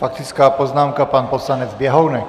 Faktická poznámka pan poslanec Běhounek.